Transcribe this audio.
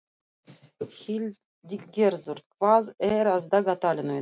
Hildigerður, hvað er á dagatalinu í dag?